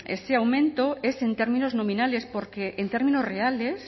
ese aumento es en términos nominales porque en términos reales